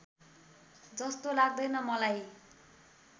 जस्तो लाग्दैन मलाई